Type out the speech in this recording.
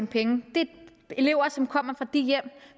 penge det er elever som kommer fra de hjem